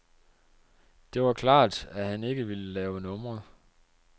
Det var klart, at han ikke ville lave numre.